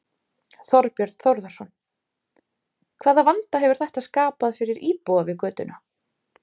Þorbjörn Þórðarson: Hvaða vanda hefur þetta skapað fyrir íbúa við götuna?